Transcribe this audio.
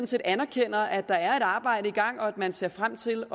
set anerkender at der er et arbejde i gang og at man ser frem til